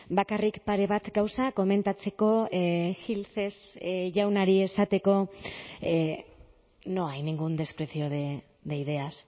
bakarrik pare bat gauza komentatzeko gil jaunari esateko no hay ningún desprecio de ideas